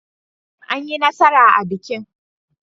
Anyi nasara a bikin.